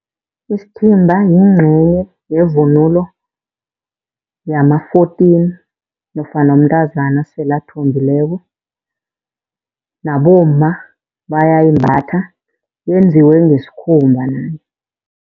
Isithimba yincenye yevunulo yama-fourteen nofana umntazana esele athombileko. Nabomma bayayimbatha yenziwe ngesikhumba.